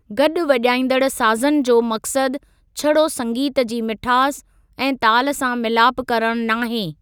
गॾु वॼाइंदड़ साज़नि जो मकसद छड़ो संगीत जी मिठास ऐं ताल सां मिलाप करण नाहे।